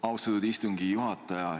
Austatud istungi juhataja!